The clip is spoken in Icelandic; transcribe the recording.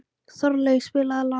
Þorlaug, spilaðu lag.